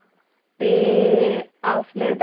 असले तर ते रविवारी free असतात